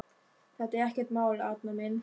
Þetta er ekkert mál, Arnar minn.